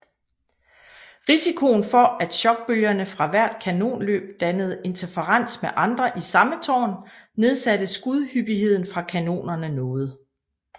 Risikoen for at chokbølgerne fra hvert kanonløb dannede interferens med andre i samme tårn nedsatte skudhyppigheden fra kanonerne noget